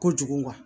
Kojugu